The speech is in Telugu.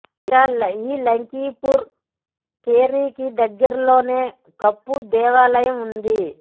ఇక ఈ లఖింపూర్ కేరికి దగ్గర్లోనే కప్ప దేవాలయం ఉంది